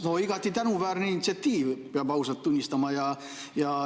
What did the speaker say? No igati tänuväärne initsiatiiv, peab ausalt tunnistama.